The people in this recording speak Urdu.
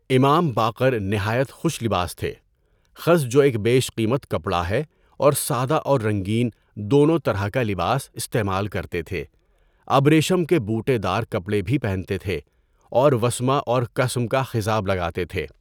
امام باقر نہایت خوش لباس تھے، خز جو ایک بیش قیمت کپڑا ہے اور سادہ اور رنگین دونوں طرح کا لباس استعمال کرتے تھے، ابریشم کے بوٹے دار کپڑے بھی پہنتے تھے اور وسمہ اور کثم کا خضاب لگاتے تھے۔